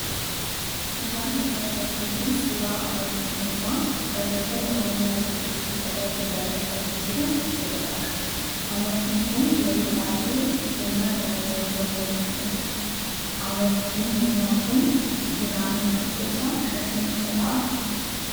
Suuraan mul'achaa jiru kun suuraa amartii mormaa barreeffama Oromiyaa jedhu irratti barreeffamee jiru ofirraa qaba. amartiin kun yeroo baay'ee kennaa jaalalleewwan walii kennaniidha. Amartiin mormaa kun giraamiin tokko isaa qarshii meeqa ta'aa?